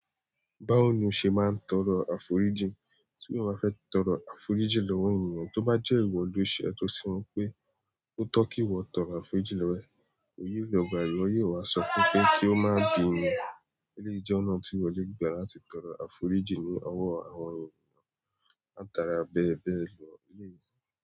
Báwo ni o ṣe máa ń tọrọ àforíjìn? Tí mo bá fẹ́ tọrọ àforíjìn lọ́wọ́ ènìyàn, tó bá jẹ́ ìwọ ló ṣe ètò sí wọ́n pé ó tọ́ kí ìwọ tọrọ àforíjìn lọwọ ẹ, òye ìlò gbà èèyò yóò wá sọ fún pé kí ó má gbin wí. Eléèyì jẹ ọ̀nà tí ìwọ lè gbà láti tọrọ àforíjìn ní ọwọ́ àwọn ènìyàn, látara bẹ bẹ́ẹ̀ lọ eléèyì.